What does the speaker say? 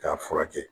K'a furakɛ